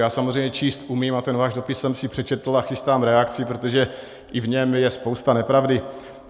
Já samozřejmě číst umím a ten váš dopis jsem si přečetl a chystám reakci, protože i v něm je spousta nepravdy.